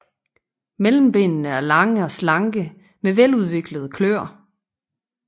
Mellembenene er lange og slanke med veludviklede kløer